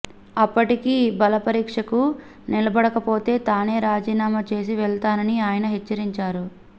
అప్పటికీ బలపరీక్షకు నిలబడకపోతే తానే రాజీనామా చేసి వెళతానని ఆయన హెచ్చరించారు